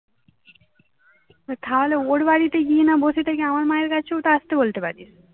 তুই খাওয়ালে ওর বাড়িতে গিয়ে না বসে থেকে আমার মায়ের কাছেও তো আসতে বলতে পারিস